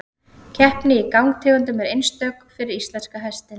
Keppni í gangtegundum er einstök fyrir íslenska hestinn.